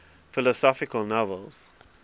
philosophical novels